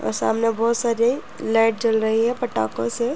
और सामने बोहोत सारी लाइट जल रही है पटाखों से।